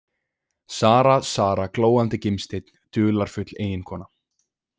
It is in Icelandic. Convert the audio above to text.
Sara, Sara, glóandi gimsteinn, dularfull eiginkona.